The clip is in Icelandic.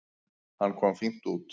Hann kom fínt út.